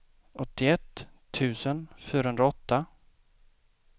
åttioett tusen fyrahundraåtta